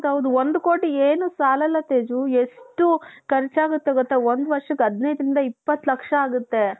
ಒಂದು ಕೋಟಿ ಏನೂ ಸಾಲಲ್ಲ ತೇಜು ಎಷ್ಟು ಖರ್ಚಾಗುತ್ತೆ ಗೊತ್ತಾ ಒಂದು ವರ್ಷಕ್ಕೆ ಹದಿನೈದರಿಂದ ಇಪ್ಪತ್ತು ಲಕ್ಷ ಆಗುತ್ತೆ.